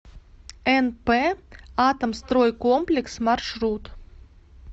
нп атомстройкомплекс маршрут